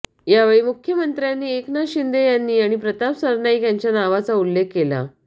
यावेळी मुख्यमंत्र्यांनी एकनाथ शिंदे यांनी आणि प्रताप सरनाईक यांच्या नावाचा उल्लेख केला